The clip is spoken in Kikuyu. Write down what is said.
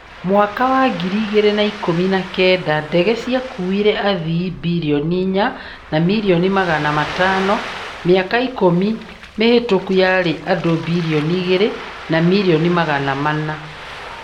Mwaka wa ngiri igĩrĩ na ikũmi na kenda, ndege ciakuire athii birioni inya na mirioni magana matano - mĩaka ikũmi mĩhĩtũku yarĩ andũ birioni igĩrĩ na mirioni magana mana.